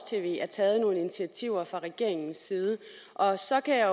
tv er taget nogle initiativer fra regeringens side og så kan jeg